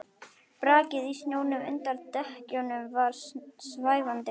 Brakið í snjónum undan dekkjunum var svæfandi.